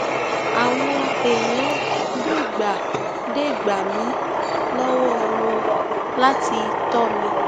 àwọn èèyàn dè gbà dè gbà mí lọwọ wọn láti tọ mi